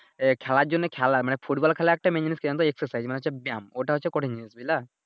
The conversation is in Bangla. এহ খেলার জন্য হচ্ছে খেলা মানে ফুটবল খেলার একটা মেইন জিনিস কি জানোতো Exercise মানে হচ্ছে ব্যায়াম ওইটা হচ্ছে কঠিন জিনিস বুঝলা।